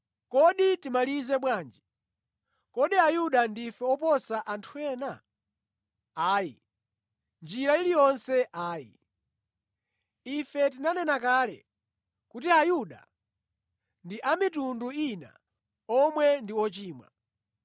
Kodi timalize bwanji? Kodi Ayuda ndife oposa anthu ena? Ayi. Mʼnjira iliyonse ayi! Ife tinanena kale kuti Ayuda ndi a mitundu ina omwe ndi ochimwa.